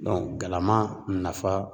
galama nafa